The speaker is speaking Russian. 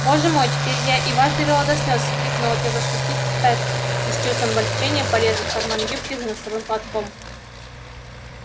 боже мой теперь я и вас довела до слез всхлипнула тётушка питтипэт и с чувством облегчения полезла в карман юбки за носовым платком